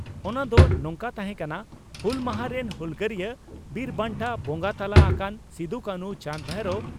ᱚᱱᱟ ᱫᱚ ᱱᱚᱝᱠᱟ ᱛᱟᱦᱮᱸ ᱠᱟᱱᱟ ᱺᱼ ᱦᱩᱞ ᱢᱟᱦᱟ ᱨᱮᱱ ᱦᱩᱞᱜᱟᱹᱨᱤᱭᱟᱹ ᱵᱤᱨ ᱵᱟᱱᱴᱟ ᱵᱚᱸᱜᱟ ᱛᱟᱞᱟ ᱟᱠᱟᱱ ᱥᱤᱫᱚ ᱠᱟᱱᱦᱩ ᱪᱟᱸᱫᱽᱼᱵᱷᱟᱭᱨᱚ